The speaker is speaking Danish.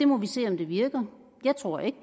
må se om det virker jeg tror ikke